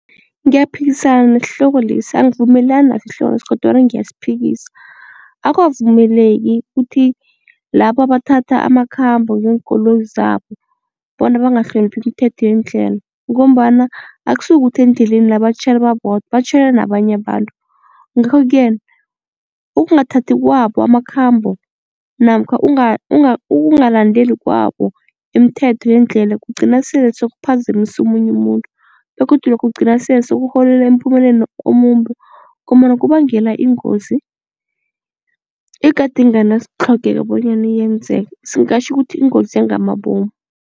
Ngiyaphikisana nesihloko lesi angivumelani naso isihloko lesi kodwana ngiyasiphikisa. Akwavumeleki kuthi labo abathatha amakhambo ngeenkoloyi zabo bona bangahloniphi imithetho yendlela ngombana akusikuthi endleleni la batjhayela babodwa batjhayela nabanye abantu. Ngakho-ke ukungathathi kwabo amakhambo namkha ukungalandeli kwabo imithetho yendlela kugcina sele sekuphazamisa omunye umuntu begodu lokho kugcina sele sekurholela emphumeleni omumbi ngombana kubangela ingozi egade inganasitlhogeko bonyana yenzeke singatjho ukuthi ingozi yangamabomu.